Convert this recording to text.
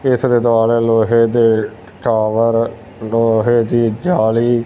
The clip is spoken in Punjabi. ਇੱਸ ਦੇ ਦੁਆਲੇ ਲੋਹੇ ਦੇ ਟਾਵਰ ਲੋਹੇ ਦੀ ਜਾਲੀ--